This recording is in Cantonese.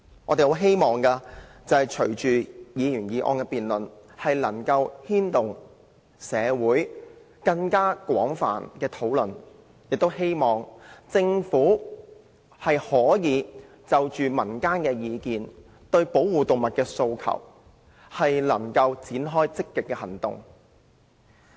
我們希望是次辯論能帶動更廣泛的社會討論，亦希望政府可聽取民間意見，對保護動物的訴求展開積極行動。